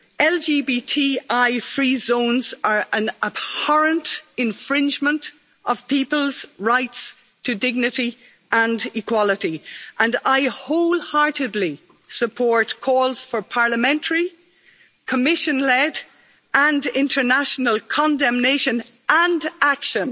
LGBTI-free zones are an abhorrent infringement of people's rights to dignity and equality, and I wholeheartedly support calls for Parliamentary, Commission led and international condemnation and action